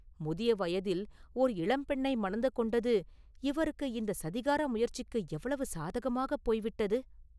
முதிய வயதில் ஓர் இளம்பெண்ணை மணந்து கொண்டது இவருக்கு இந்தச் சதிகார முயற்சிக்கு எவ்வளவு சாதகமாகப் போய்விட்டது?